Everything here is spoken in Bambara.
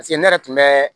ne yɛrɛ tun bɛ